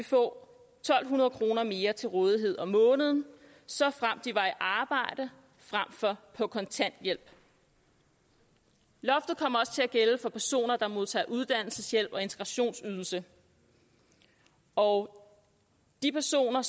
to hundrede kroner mere til rådighed om måneden såfremt de er i arbejde frem for at på kontanthjælp loftet kommer også til at gælde for personer der modtager uddannelseshjælp og integrationsydelse og de personer